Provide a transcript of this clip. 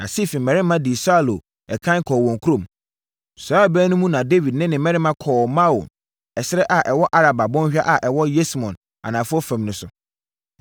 Na Sif mmarima dii Saulo ɛkan kɔɔ wɔn kurom. Saa ɛberɛ no mu na Dawid ne ne mmarima kɔ Maon ɛserɛ a ɛwɔ Araba bɔnhwa a ɛwɔ Yesimon anafoɔ fam no so.